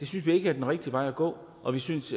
synes vi ikke er den rigtige vej at gå og vi synes